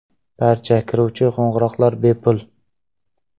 Barcha kiruvchi qo‘ng‘iroqlar bepul.